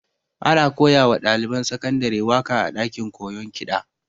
Ana koya wa ɗaliban sakandare waƙa a ɗakin koyon kiɗa